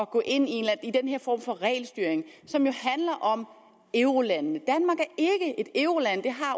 gå ind i den her form for regelstyring som jo handler om eurolandene